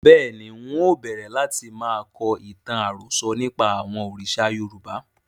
Bẹ́ẹ̀ni, ń ó bẹ̀rẹ̀ láti máa kọ ìtàn àròsọ̀ nípa àwọn òrìṣà Yorùbá